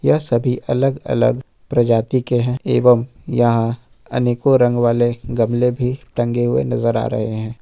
यह सभी अलग अलग प्रजाति के हैं एवं यहां अनेकों रंग वाले गमले भी टंगे हुए नजर आ रहे हैं।